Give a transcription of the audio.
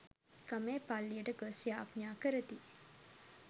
ගමේ පල්ලියට ගොස් යාච්ඥා කරති.